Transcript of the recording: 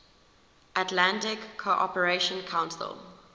atlantic cooperation council